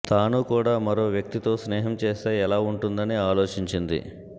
తాను కూడా మరో వ్యక్తితో స్నేహం చేస్తే ఎలా ఉంటదని ఆలోచించింది